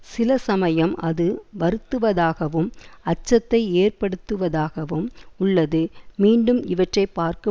சில சமயம் அது வருத்துவதாகவும் அச்சத்தை ஏற்படுத்துவதாகவும் உள்ளது மீண்டும் இவற்றை பார்க்க